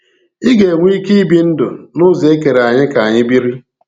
Ị ga-enwe ike ibi ndụ n’ụzọ e kere anyị ka anyị biri.